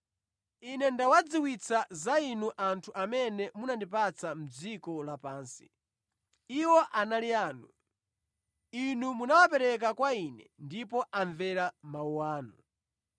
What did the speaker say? “Ine ndawadziwitsa za Inu anthu amene munandipatsa mʼdziko lapansi. Iwo anali anu. Inu munawapereka kwa Ine ndipo amvera mawu anu.